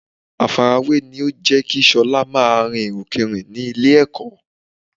Àfarawé ni ó ń jẹ́ kí Ṣọlá máa rin ìrìnkurìn ní ilé-ẹ̀kọ́